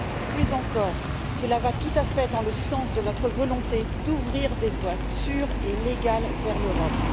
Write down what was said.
Plus encore, il va tout à fait dans le sens de notre volonté d'ouvrir des voies sûres et légales vers l'Europe.